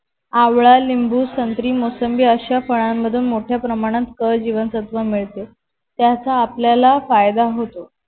आवळा लिंबू संत्री मोसंबी अश्या फळाणमधून मोठ्या प्रमाणात क जीवनसत्व मिळते त्याचा आपल्याला फायदा होतो.